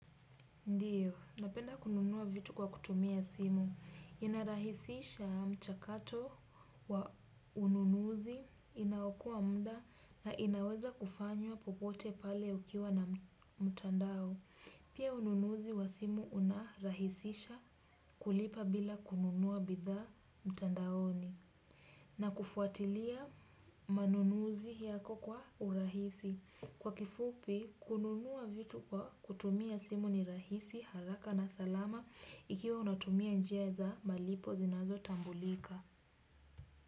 Ndiyo, napenda kununua vitu kwa kutumia simu. Inarahisisha mchakato wa ununuzi inaokoa mda na inaweza kufanywa popote pale ukiwa na mtandao. Pia ununuzi wa simu unarahisisha kulipa bila kununuwa bidhaa mtandaoni. Na kufuatilia manunuzi yako kwa urahisi. Kwa kifupi, kununua vitu kwa kutumia simu ni rahisi haraka na salama ikiwa unatumia njia za malipo zinazotambulika.